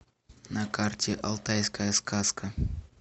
на карте алтайская сказка